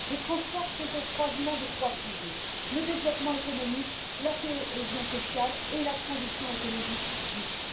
Les transports sont au croisement de trois piliers le développement économique, la cohésion sociale et la transition écologique juste.